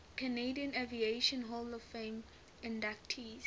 canadian aviation hall of fame inductees